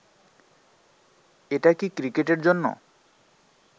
এটা কি ক্রিকেটের জন্য